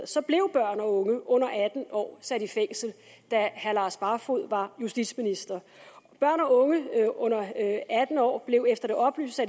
blev børn og unge under atten år sat i fængsel da herre lars barfoed var justitsminister børn og unge under atten år blev efter det oplyste